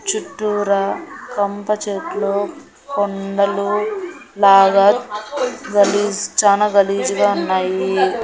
చుట్టూరా కంప చెట్లు కొండలు లాగా గలీజ్ చానా గలీజ్ గా ఉన్నాయి.